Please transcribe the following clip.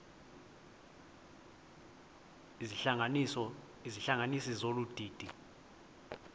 izihlanganisi zolu didi